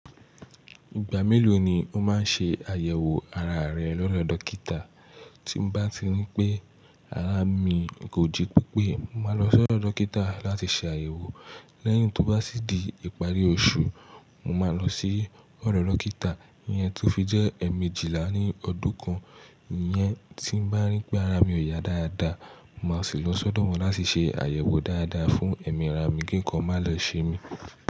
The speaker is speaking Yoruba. Ìgbà mélòó ni o máa ń ṣe àyẹ̀wò ara rẹ lọ́do dókítà? Tí n bá ti rí pé ara mi kò jí pépé, mo máa lọ sọ̀dọ̀ dókítà láti ṣe àyẹ̀wò. Lẹ́yìn tó bá sì di ìparí oṣù, mo máa lọ sí ọ̀ro dókítà iyẹn ti ó fi jẹ́ ẹ̀emejila ní ọdún kan. Ìyẹn tí n bá rí pé ara mi ò yá dáadáa, máa sì lọ sọ́dọ̀ wọn láti ṣe àyẹ̀wò dáadáa fún ẹ̀mí ara mi kí nǹkan má lo ṣe mí.